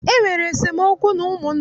E nwere esemookwu n'ụmụnna m